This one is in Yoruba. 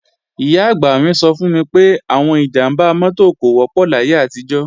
Ìyá-àgbà mi sọ fún mi pé, àwọn ìjàmbá mọ́tò kò wọ́pọ̀ láyé àtijọ́